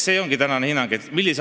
See ongi tänane hinnang.